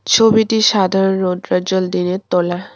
ছবিটি সাধারণ রৌদ্রজ্জ্বল দিনের তোলা।